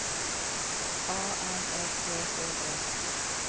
A N E T H E